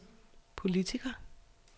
politiker